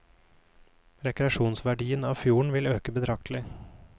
Rekreasjonsverdien av fjorden vil øke betraktelig.